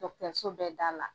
Dɔgɔtɔrɔso bɛɛ da la.